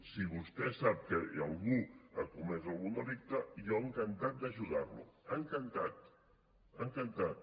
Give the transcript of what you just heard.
si vostè sap que algú ha comès algun delicte jo encantat d’ajudar lo encantat encantat